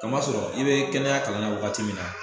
Ka masɔrɔ i be kɛnɛya kalan na wagati min na